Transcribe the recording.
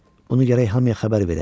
Bunu gərək hamıya xəbər verək.